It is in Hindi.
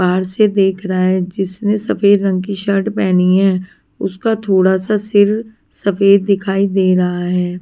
बाहर से देख रहा है जिसने सफेद रंग की शर्ट पहनी है उसका थोड़ा सा सिर सफेद दिखाई दे रहा है।